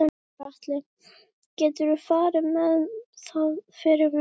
Gunnar Atli: Geturðu farið með það fyrir mig?